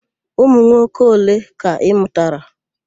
Ụmụnwoke ole ka ị mụtara?